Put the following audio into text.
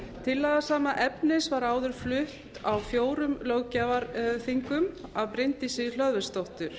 tillaga sama efnis var áður flutt á fjórum löggjafarþingum af bryndísi hlöðversdóttur